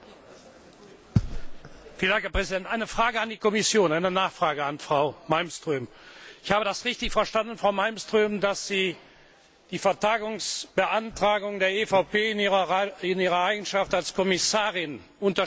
Herr Präsident! Eine Frage an die Kommission, eine Nachfrage an Frau Malmström Habe ich das richtig verstanden, Frau Malmström, dass Sie die Vertagungsbeantragung der EVP in Ihrer Eigenschaft als Kommissarin unterstützen?